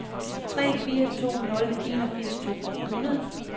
tre fire to nul enogfirs to hundrede